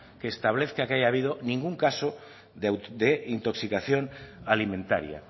que establezca que haya habido ningún caso de intoxicación alimentaria